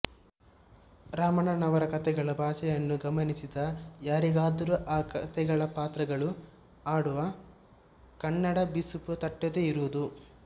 ರಾಮಣ್ಣನವರ ಕತೆಗಳ ಭಾಷೆಯನ್ನು ಗಮನಿಸಿದ ಯಾರಿಗಾದರೂ ಆ ಕತೆಗಳ ಪಾತ್ರಗಳು ಆಡುವ ಕನ್ನಡದ ಬಿಸುಪು ತಟ್ಟದೇ ಇರದು